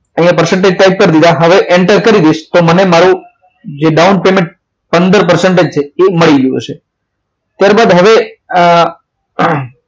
અહીંયા percentage type કરી દીધા હવે એન્ટર કરી દઈશ તો મને મારો જે down payment પંદર percentage આ માડી ગયું હસે ત્યારબાદ હવે